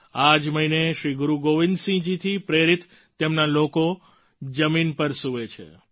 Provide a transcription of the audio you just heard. આ જ મહિને શ્રી ગુરુ ગોવિંદ સિંહ જી થી પ્રેરિત તેમના લોકો જમીન પર સૂવે છે